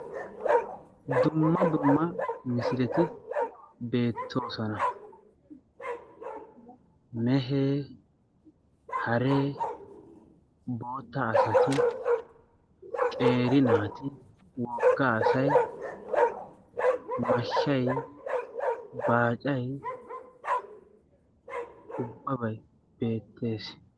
dumma dumma misileti beettoosona. mehee, haree, bootta asati, qeeri naati, wogga asay, mashshay, baaca, ubbabay beettees.